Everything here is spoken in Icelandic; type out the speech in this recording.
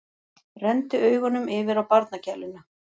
Renndi augunum yfir á barnagæluna.